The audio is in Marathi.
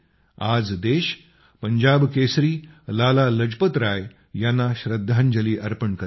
आज देश पंजाब केसरी लाला लजपतराय यांना श्रद्धांजली अर्पण करीत आहे